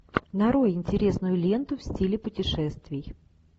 нарой интересную ленту в стиле путешествий